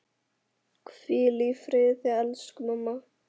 Hvíl í friði elsku mamma.